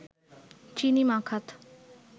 চিনি মাখাত